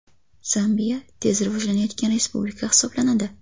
Zambiya tez rivojlanayotgan respublika hisoblanadi.